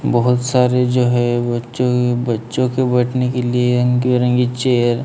बहुत सारे जो है बच्चों बच्चों के बैठने के लिए रंगी रंगीन चेयर --